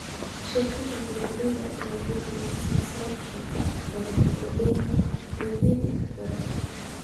Shirkadaha beeralayda ayaa bixiya silsilado cuntooyin badan oo leh badeecooyin badan.